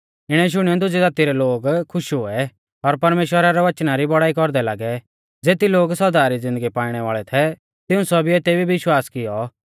इणै शुणियौ दुजी ज़ाती रै लोग खुश हुऐ और परमेश्‍वरा रै वचना री बौड़ाई कौरदै लागै ज़ेती लोग सौदा री ज़िन्दगी पाइणै वाल़ै थै तिऊं सौभीऐ तेभी विश्वास कियौ